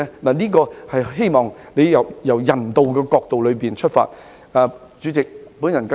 我希望政府可從人道角度出發，考慮這項建議。